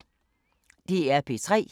DR P3